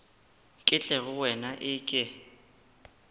ke tle go wena eke